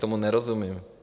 Tomu nerozumím.